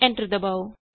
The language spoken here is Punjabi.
ਐਂਟਰ ਦਬਾਉ